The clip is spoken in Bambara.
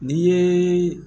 N'i ye